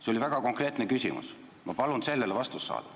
See oli väga konkreetne küsimus, ma palun sellele vastust saada.